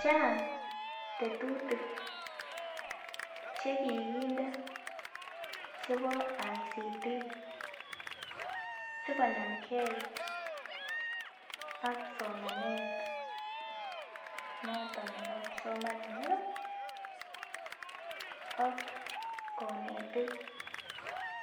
Chang tetutik chekikinde chebo Information Communication Technology sikonam gee ak somanet noton nebo kipsomaninik ak konetik